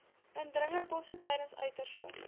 indringerbosse tydens uiterste